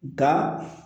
Nka